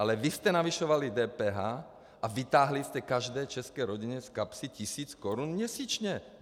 Ale vy jste navyšovali DPH a vytáhli jste každé české rodině z kapsy tisíc korun měsíčně.